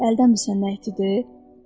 Əldən müsən nəyitidir?